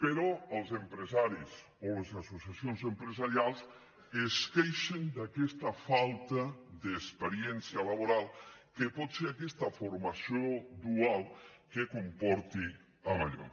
però els empresaris o les associacions empresarials es queixen d’aquesta falta d’experiència laboral que pot ser aquesta formació dual que comporti allò